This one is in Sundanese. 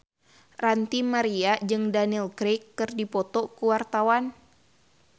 Ranty Maria jeung Daniel Craig keur dipoto ku wartawan